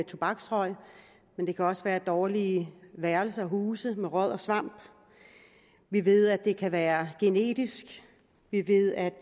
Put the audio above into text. tobaksrøg men det kan også være dårlige værelser huse med råd og svamp vi ved at det kan være genetisk vi ved at